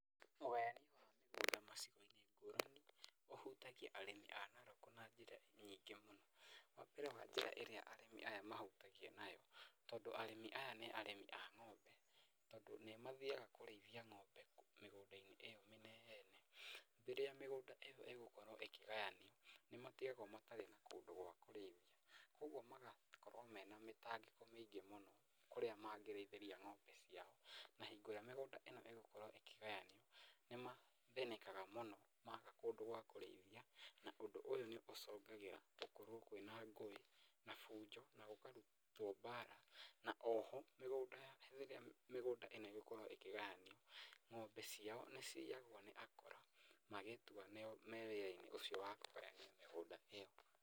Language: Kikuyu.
Ũgayani wa mĩgũnda macigo-inĩ ngũrani ũhutagia arĩmi a Narok na njĩra nyingĩ mũno. Wa mbere wa njĩra ĩrĩa arĩmi aya mahutagio nayo tondũ arĩmi aya nĩ arĩmi a ng'ombe, tondũ nĩ mathiaga kũrĩithia ng'ombe mĩgũnda-inĩ ĩyo mĩnene, rĩrĩa mĩgũnda ĩyo ĩkũgayanio, nĩ matigagwo matarĩ na kũndũ gwa kũrĩithia. Kwoguo magakorwo mena mĩtangĩko mĩingĩ mũno kũrĩa mangĩrĩithĩria ng'ombe ciao. Na hingo ĩrĩa mĩgũnda ĩno ĩgũkorwo ĩkĩgayanio, nĩ mathĩnĩkaga mũno maaga kũndũ gwa kũrĩithia. Na ũndũ ũyũ nĩ ũcũngagĩra gũkorwo kwĩna ngũĩ na fujo na gũgakorwo kwĩna mbara. Na o ho rĩrĩa mĩgũnda ĩno ĩgũkorwo ĩkĩgayanio, ng'ombe ciao nĩ ciyagwo ni akora magĩtua nĩo me wĩra-inĩ ũcio wa kũgayania mĩgũnda ĩyo.